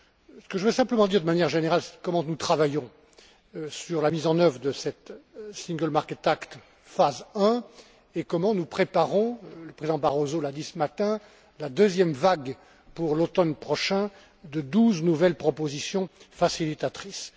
Ce que je veux simplement dire, de manière générale, c'est comment nous travaillons sur la mise en œuvre de ce Single Market Act phase I et comment nous préparons le Président Barroso l'a dit ce matin la deuxième vague, pour l'automne prochain, de douze nouvelles propositions facilitatrices.